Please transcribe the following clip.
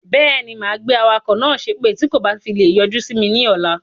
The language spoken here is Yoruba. Beeni, máa gbé awakọ̀ náà sépè tí kò bá fi lè yọjú simi ni ọ̀la.